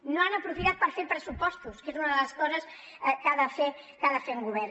no han aprofitat per fer pressupostos que és una de les coses que ha de fer un govern